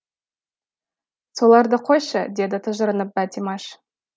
соларды қойшы деді тыжырынып бәтимаш